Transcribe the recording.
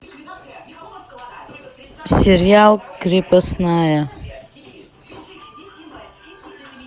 сериал крепостная